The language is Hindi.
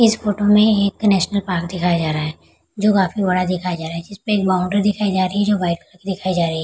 इस फोटो में एक नेशनल पार्क दिखाया जा रहा है जो काफी बड़ा दिखाया जा रहा है जिसपे एक बाउंड्री दिखाई जा रही है जो व्हाइट कलर की दिखाई जा रही है।